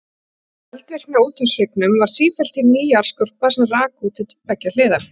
Við eldvirkni á úthafshryggnum varð sífellt til ný jarðskorpa sem rak út til beggja hliða.